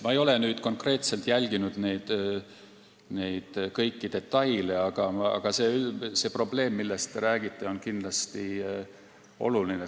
Ma ei ole nüüd konkreetselt jälginud kõiki detaile, aga see probleem, millest te räägite, on kindlasti oluline.